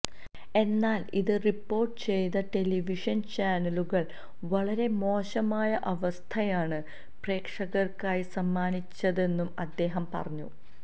എന്നാല് ഇത് റിപ്പോര്ട്ട് ചെയ്ത ടെലിവിഷന് ചാനലുകള് വളരെ മോശമായ അവസ്ഥയാണ് പ്രേക്ഷകര്ക്കായി സമ്മാനിച്ചതെന്നും അദ്ദേഹം പറഞ്ഞു